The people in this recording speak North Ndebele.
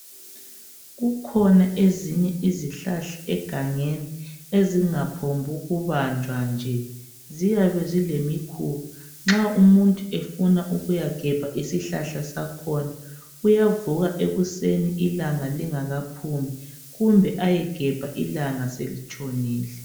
Kukhona ezinye izihlahla egangeni ezingaphombu kubanjwa nje. Ziyabe zilemikhuba, nxa umuntu efuna ukuya gebha isihlahla sakhona uyavuka ekuseni ilanga lingakaphumi kumbe ayegebha ilanga selitshonile.